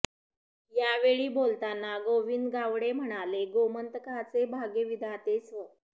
यावेळी बोलतान गोविंद गावडे म्हणाले गोमंतकाचे भाग्यविधाते स्व